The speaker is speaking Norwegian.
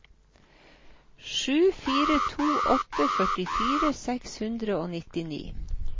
sju fire to åtte førtifire seks hundre og nittini